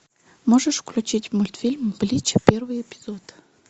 можешь включить мультфильм блич первый эпизод